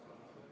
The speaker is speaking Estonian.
Aitäh!